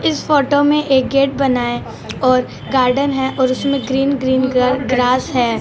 इस फोटो मे एक गेट बनाया और गार्डन है और इसमे ग्रीन ग्रीन ग्रा ग्रास है।